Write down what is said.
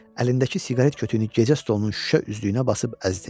Əlindəki siqaret kütüyünü gecə stolunun şüşə üzlüyünə basıb əzdi.